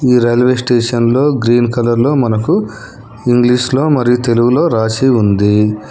ఈ railway station లో green colour లో మనకు ఇంగ్లీషులో మరియు తెలుగులో రాసి ఉంది.